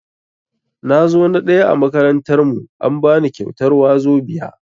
Nazo na ɗaya a makarantar mu, an bani kyautar wazobia.